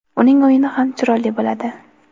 uning o‘yini ham chiroyli bo‘ladi.